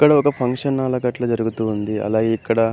ఇక్కడ ఒక ఫంక్షన్ గట్ల జరుగుతుంది. అలాగే ఇక్కడ --